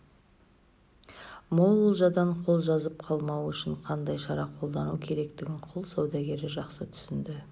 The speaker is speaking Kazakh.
мол олжадан қол жазып қалмау үшін қандай шара қолдану керектігін құл саудагері жақсы түсінді